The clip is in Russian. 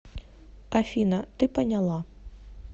афина ты поняла